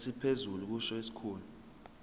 esiphezulu kusho isikhulu